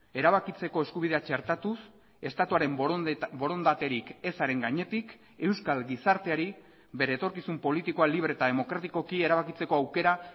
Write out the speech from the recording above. erabakitzeko eskubidea txertatuz estatuaren borondaterik ezaren gainetik euskal gizarteari bere etorkizun politikoa libre eta demokratikoki erabakitzeko aukera